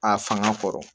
A fanga kɔrɔ